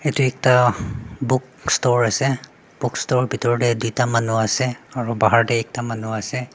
edu ekta book store ase bookstore la bitor tae tuita manu ase aro bahar tae ekta manu ase.